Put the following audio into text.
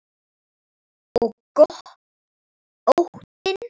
Og óttinn.